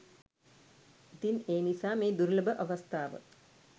ඉතින් ඒ නිසා මේ දුර්ලභ අවස්ථාව